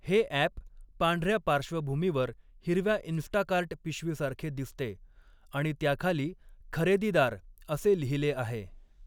हे अॅप पांढऱ्या पार्श्वभूमीवर हिरव्या इंस्टाकार्ट पिशवीसारखे दिसते आणि त्याखाली 'खरेदीदार' असे लिहिले आहे.